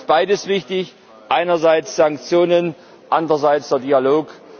Deshalb ist beides wichtig Einerseits Sanktionen, andererseits der Dialog.